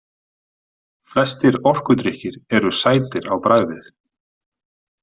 Flestir orkudrykkir eru sætir á bragðið.